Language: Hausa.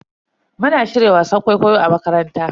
Muna shirya wasan kwaikwayo a makaranta.